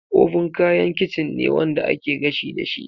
Oven kayan kicin ne wanda ake gashi dashi.